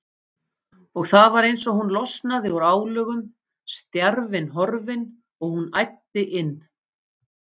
Og það var eins og hún losnaði úr álögum, stjarfinn horfinn, og hún æddi inn.